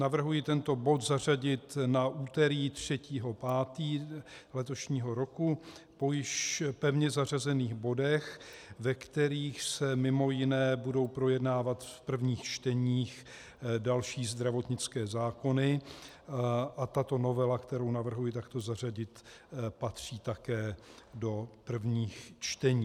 Navrhuji tento bod zařadit na úterý 3. 5. letošního roku po již pevně zařazených bodech, ve kterých se mimo jiné budou projednávat v prvních čteních další zdravotnické zákony, a tato novela, kterou navrhuji takto zařadit, patří také do prvních čtení.